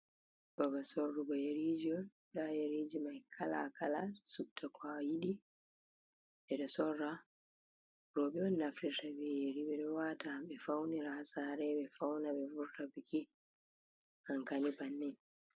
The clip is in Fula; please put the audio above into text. Babbal sorugo yeriji on, nda yeriji mai kala-kala, supta ko a yiɗi, ɓe ɗo sora. Rowɓe on naftirta be yeri, ɓe wata, ɓe faunira ha sare, ɓe fauna, ɓe vurta biki. Anka ni bannin.